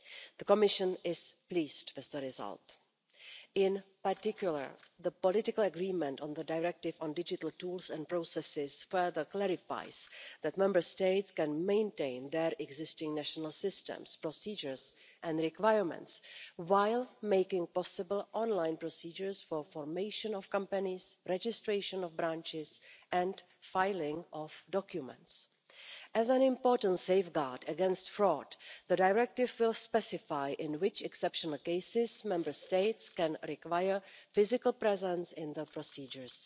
The Commission is pleased with the result. In particular, the political agreement on the directive on digital tools and processes further clarifies that Member States can maintain their existing national systems, procedures and requirements, while making possible online procedures for formation of companies, registration of branches and filing of documents. As an important safeguard against fraud, the directive will specify in which exceptional cases Member States can require physical presence in the procedures.